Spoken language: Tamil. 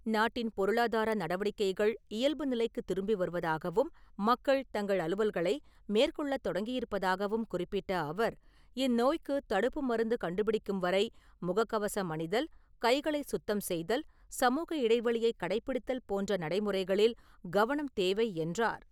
நாட்டின் பொருளாதார நடவடிக்கைகள் இயல்பு நிலைக்குத் திரும்பி வருவதாகவும், மக்கள் தங்கள் அலுவல்களை மேற்கொள்ளத் தொடங்கியிருப்பதாகவும் குறிப்பிட்ட அவர், இந்நோய்க்கு தடுப்பு மருந்து கண்டுபிடிக்கும் வரை முககவசம் அணிதல், கைகளை சுத்தம் செய்தல், சமூக இடைவெளியை கடைப்பிடித்தல் போன்ற நடை முறைகளில் கவனம் தேவை என்றார்.